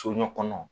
Soɲɔ kɔnɔ